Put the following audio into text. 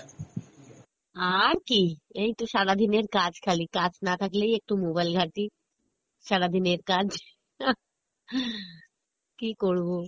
আর কী এইতো সারাদিনের কাজ খালি কাজ না থাকলেই একটু mobile ঘাটি, সারাদিনের কাজ কী করবো